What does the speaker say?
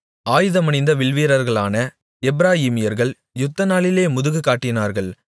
ஆயுதமணிந்த வில்வீரர்களான எப்பிராயீமீர்கள் யுத்தநாளிலே முதுகு காட்டினார்கள்